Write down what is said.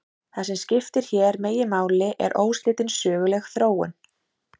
Það sem skiptir hér meginmáli er óslitin söguleg þróun.